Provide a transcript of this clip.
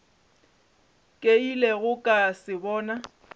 ke ilego ka se bona